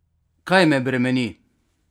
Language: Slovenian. Kaj me bremeni?